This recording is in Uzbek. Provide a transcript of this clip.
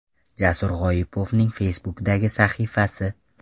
Jasur G‘oipovning Facebook’dagi sahifasi.